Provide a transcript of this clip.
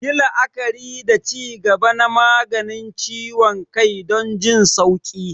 Yi la'akari da ci gaba na maganin ciwon kai don jin sauƙi.